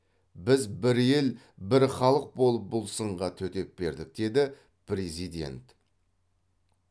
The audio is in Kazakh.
біз бір ел бір халық болып бұл сынға төтеп бердік деді президент